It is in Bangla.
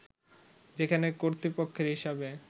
যেখানে কর্তৃপক্ষের হিসবে